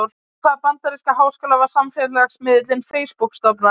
Í hvaða bandaríska háskóla var samfélagsmiðillinn Facebook stofnaður?